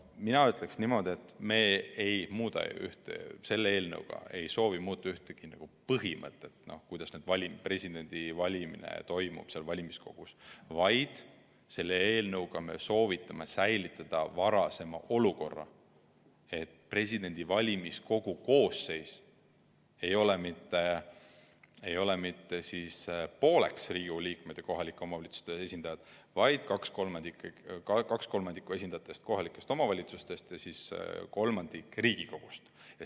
Mina ütleksin niimoodi, et me ei soovi selle eelnõuga muuta mitte ühtegi põhimõtet, kuidas presidendivalimised valimiskogus toimuvad, vaid selle eelnõuga me soovime säilitada varasema olukorra, et valimiskogu koosseisu ei moodustaks mitte Riigikogu liikmed ja kohalike omavalitsuste esindajad pooleks, vaid et kaks kolmandikku esindajatest oleks kohalikest omavalitsustest ja kolmandik Riigikogust.